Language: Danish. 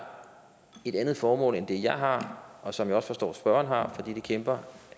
et andet formål end det jeg har og som jeg også forstår spørgeren har fordi det kæmper